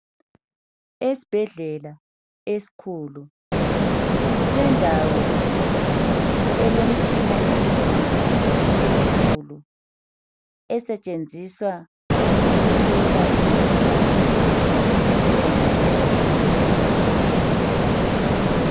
Esbhedlela eskhulu kulendawo elemtshina emnengi emikhulu esetshenziswa ukuhlola imikhuhlane emnengi emzimbeni yabantu.